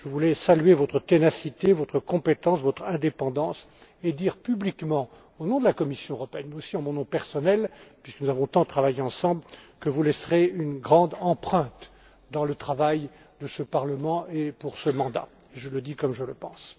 Je voudrais saluer votre ténacité, votre compétence, votre indépendance, et dire publiquement, au nom de la Commission européenne, et aussi en mon nom personnel, puisque nous avons tant travaillé ensemble, que vous laisserez une grande empreinte dans le travail de ce Parlement et de cette législature. Je le dis comme je le pense.